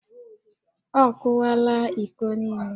Ọ kụwaala íkó niile